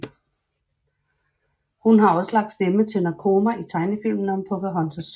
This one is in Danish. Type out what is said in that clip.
Hun har også lagt stemme til Nakoma i tegnefilmene om Pocahontas